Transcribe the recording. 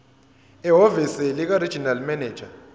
ehhovisi likaregional manager